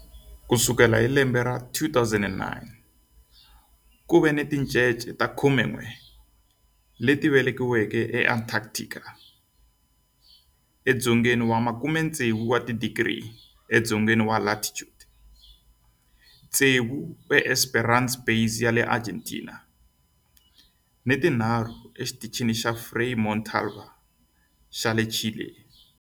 Ku sukela hi 2009, ku ve ni tincece ta 11 leti velekiweke eAntarctica edzongeni wa 60 wa tidigri edzongeni wa latitude, tsevu eEsperanza Base ya le Argentina ni tinharhu eXitichini xa Frei Montalva xa le Chile.